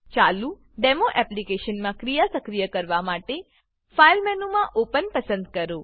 ચાલુ ડેમો એપ્લીકેશનમાં ક્રિયા સક્રિય કરવા માટે ફાઇલ મેનુમાં ઓપન ઓપન પસંદ કરો